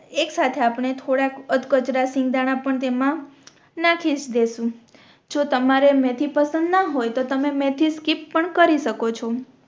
એક સાથે આપણે થોડાક અધ કચરા સિંગ દાણા પણ તેમા નાખી દેસું જો તમારે મેથી પસંદ ના હોય તો તમે મેથી સ્કીપ પણ કરી શકો છો